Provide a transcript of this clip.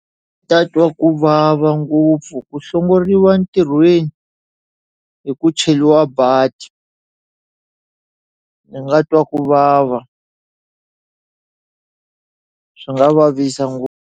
Ta twa ku vava ngopfu ku hlongoriwa ntirhweni hi ku cheliwa badi ni nga twa ku vava swi nga vavisa .